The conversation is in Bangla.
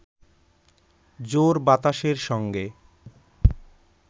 জোর বাতাসের সঙ্গে